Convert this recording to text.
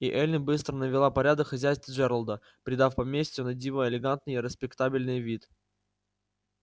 и эллин быстро навела порядок в хозяйстве джералда придав поместью на диво элегантный и респектабельный вид